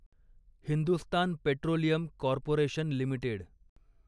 Hindustan petroleum corporation limited